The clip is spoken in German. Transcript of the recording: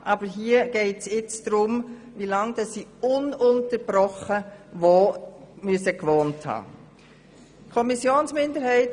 Aber hier geht es darum, wie lange sie ununterbrochen wo gewohnt haben müssen.